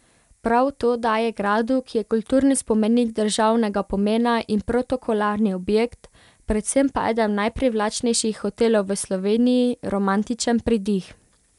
Prav to daje gradu, ki je kulturni spomenik državnega pomena in protokolarni objekt, predvsem pa eden najprivlačnejših hotelov v Sloveniji, romantičen pridih.